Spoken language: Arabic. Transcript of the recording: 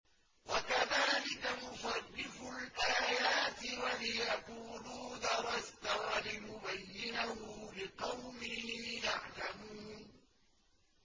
وَكَذَٰلِكَ نُصَرِّفُ الْآيَاتِ وَلِيَقُولُوا دَرَسْتَ وَلِنُبَيِّنَهُ لِقَوْمٍ يَعْلَمُونَ